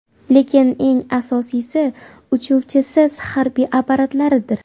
Lekin eng asosiysi – uchuvchisiz harbiy apparatlardir.